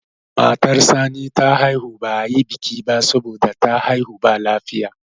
matar Sani ta haihu ba a yi biki ba saboda ta haihu ba lafiya